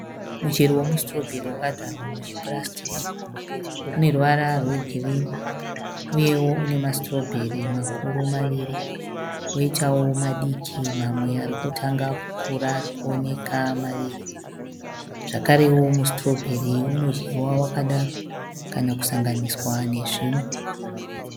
Michero wemu sitorobheri wakadyarwa muchi purasitiki. Une ruvara rwegirini uyewo une masitobheri makuru maviri. Koitawo madiki mamwe arikutanga kukura arikuonekwa maviri. Zvakarewo musitorobheri anodyiwa wakadaro kana kusanganiswa nezvimwe.